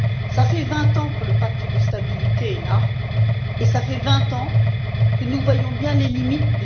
Cela fait 20 ans que le pacte de stabilité est là et cela fait 20 ans que nous voyons bien ses limites.